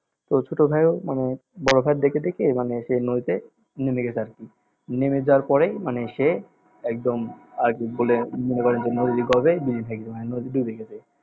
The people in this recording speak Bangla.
তো ছোটভাই ও মানে বড়ভাইকে দেখে দেখে মানে সে নদীতে নেমে গেছে আর কি নেমে যাওয়ার পরেই মানে সে একদম আর কি ভুলে মনে করেন যে নদীরগর্ভে বিলীন হয়ে গেছে মানে ডুবে গেছে